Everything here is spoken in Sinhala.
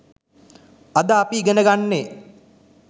අද අපි ඉගෙන ගන්නේ